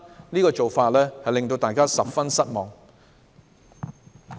這種做法令大家十分失望。